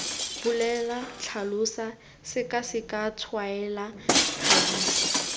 bolela tlhalosa sekaseka tshwaela thadisa